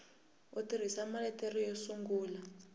u tirhisa maletere yo sungula